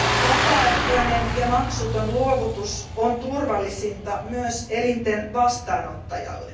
Vapaaehtoinen ja maksuton luovutus on turvallisinta myös elinten vastaanottajalle.